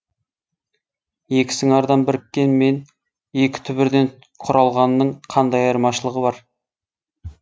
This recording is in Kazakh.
екі сыңардан біріккен мен екі түбірден құралғанның қандай айырмашылығы бар